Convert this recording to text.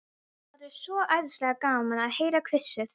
Það er svo æðislega gaman að heyra hvissið.